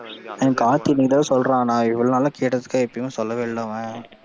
அவன் கார்த்தி இன்னைக்கு தான் சொல்றான், நான் இவ்வளவு நாள் கேட்டதுக்கு எப்பயும் சொல்லவே இல்லை அவன்,